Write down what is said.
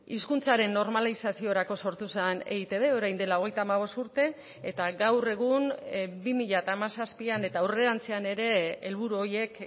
hizkuntzaren normalizaziorako sortu zen eitb orain dela hogeita hamabost urte eta gaur egun bi mila hamazazpian eta aurrerantzean ere helburu horiek